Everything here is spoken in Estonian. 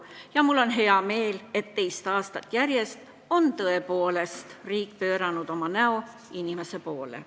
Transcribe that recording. Ja mul on hea meel, et teist aastat järjest on tõepoolest riik pööranud oma näo inimeste poole.